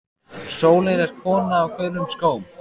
Sólin er kona á gulum skóm.